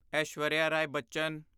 Aishwarya Rai Bachchan